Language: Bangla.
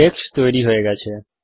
টেক্সট তৈরি হয়ে গেছে